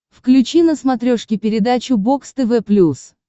включи на смотрешке передачу бокс тв плюс